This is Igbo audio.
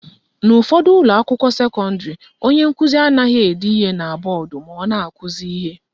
N'ụfọdụ ụlọakwụkwọ sekọndịrị, onye nkụzi anaghị ede ihe na mgbọodee ma ọ na-akụzi ihe.